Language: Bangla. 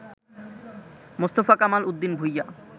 মোস্তফা কামাল উদ্দিন ভূঁইয়া